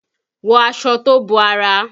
Wọ aṣọ tó bo ara!